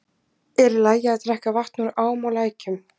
Er í lagi að drekka vatn úr ám og lækjum?